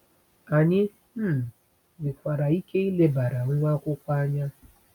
Anyị um nwekwara ike ilebara nwa akwụkwọ anya.